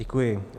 Děkuji.